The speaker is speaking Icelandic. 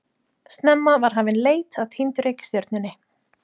Snemma var hafin leit að týndu reikistjörnunni.